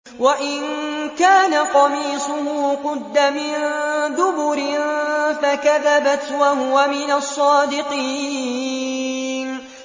وَإِن كَانَ قَمِيصُهُ قُدَّ مِن دُبُرٍ فَكَذَبَتْ وَهُوَ مِنَ الصَّادِقِينَ